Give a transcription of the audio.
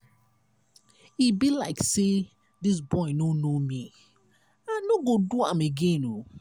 e be like say dis boy no know me. i no go do am again.